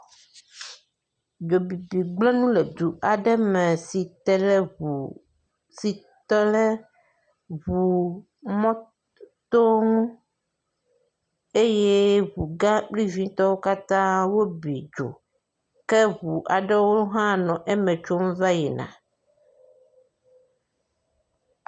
Dzobibi gblẽ nu le du aɖe me si te le ŋu, si te le ŋuu mɔɔ to ŋu eye ŋu gã kple vitɔwo katã wobi dzo. Ke ŋu aɖewo hã va le eme tsom va yina.